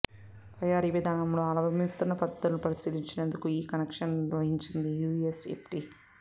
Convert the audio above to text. తయారీ విధానంలో అవలంబిస్తున్న పద్థతులను పరిశీలించేందుకే ఈ ఇన్స్పెక్షన్ను నిర్వహించింది యూఎస్ ఎఫ్డీఏ